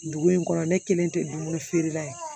Dugu in kɔnɔ ne kelen tɛ dumuni feere la ye